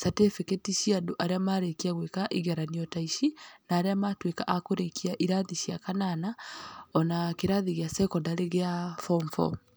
catĩbĩkĩti cia andũ arĩa marĩkia gwĩka igeranio ta ici, na arĩa matuĩka akũrĩkia irathi cia kanana, ona kĩrathi gĩa sekondary gĩa form four.